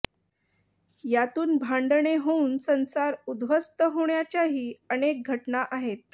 यातून भांडणे होऊन संसार उध्वस्त होण्याच्याही अनेक घटना आहेत